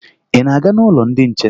Ị na-aga n'ụlọ ndị nche?